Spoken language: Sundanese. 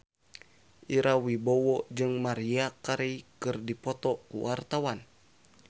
Ira Wibowo jeung Maria Carey keur dipoto ku wartawan